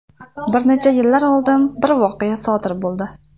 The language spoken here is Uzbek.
Bir necha yillar oldin bir voqea sodir bo‘ldi.